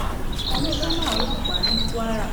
ìtàjẹsílẹ tó ń ṣẹlẹ lójoojúmọ lè fa